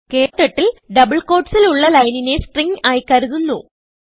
ക്ടർട്ടിൽ ഡബിൾ quotesൽ ഉള്ള ലൈനിനെ stringആയി കരുതുന്നു